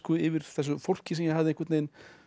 yfir þessu fólki sem ég hafði einhvern veginn